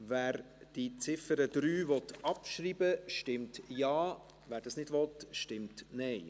Wer die Ziffer 3 abschreiben will, stimmt Ja, wer dies nicht will, stimmt Nein.